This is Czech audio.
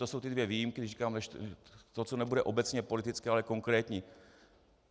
To jsou ty dvě výjimky, když říkám to, co nebude obecně politické, ale konkrétní.